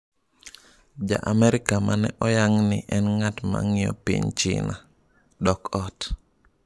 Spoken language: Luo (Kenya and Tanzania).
Ja-Amerika ma ne oyang’ ni en ng’at ma ng’iyo piny China, dok ot